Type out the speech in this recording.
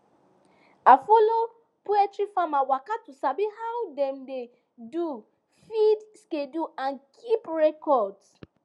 i follow poultry farmer waka to sabi how dem dey do feed schedule and keep records